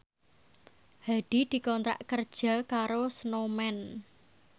Hadi dikontrak kerja karo Snowman